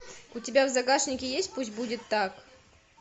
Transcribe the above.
у тебя в загашнике есть пусть будет так